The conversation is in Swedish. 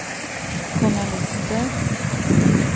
journalister